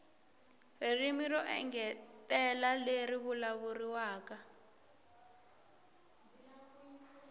ririmi ro engetela leri vulavuriwaka